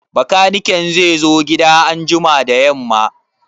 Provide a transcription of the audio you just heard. Bakaniken zai zo gida anjima da yamma?